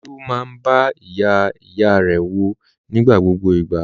Olú máa ń bẹ ìyá-ìyá rẹ̀ wò ní gbogbo ìgbà.